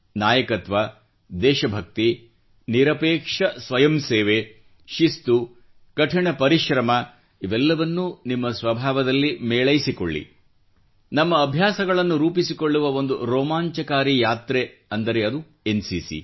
ನಾಯಕತ್ವ ದೇಶಭಕ್ತಿ ನಿರಪೇಕ್ಷ ಸ್ವಯಂ ಸೇವೆ ಶಿಸ್ತು ಕಠಿಣ ಪರಿಶ್ರಮ ಇವೆಲ್ಲವನ್ನೂ ನಿಮ್ಮ ಸ್ವಭಾವದಲ್ಲಿ ಮೇಳೈಸಿಕೊಳ್ಳಿ ನಮ್ಮ ಅಭ್ಯಾಸಗಳನ್ನು ರೂಪಿಸಿಕೊಳ್ಳುವ ಒಂದು ರೋಮಾಂಚಕಾರಿ ಯಾತ್ರೆ ಎಂದರೆ ಅದು ಎನ್ಸಿಸಿ